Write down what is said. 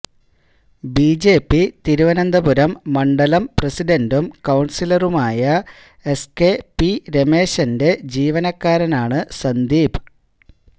BJP Thiruvananthapuram മണ്ഡലം പ്രസിഡന്റും കൌണ്സിലറുമായ എസ് കെ പി രമേശന്റെ ജീവനക്കാരനാണ് സന്ദീപ്